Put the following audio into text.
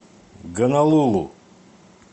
гонолулу